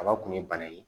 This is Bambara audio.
Kaba kun ye bana ye